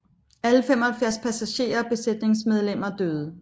Alle 75 passagerer og besætningsmedlemmer døde